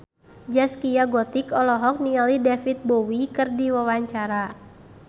Zaskia Gotik olohok ningali David Bowie keur diwawancara